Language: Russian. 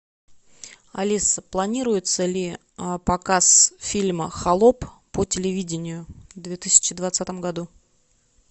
алиса планируется ли показ фильма холоп по телевидению в две тысячи двадцатом году